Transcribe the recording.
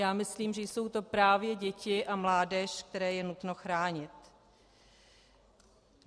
Já myslím, že jsou to právě děti a mládež, které je nutno chránit.